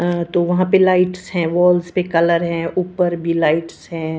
अं तो वहाँ पे लाइट्स है वॉल्स पे कलर है ऊपर भी लाइट्स है।